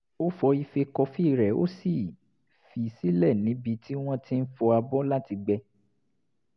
ó fọ ife kọfí rẹ̀ ó sì fi í sílẹ̀ níbi tí wọ́n ti ń fọ abọ́ láti gbẹ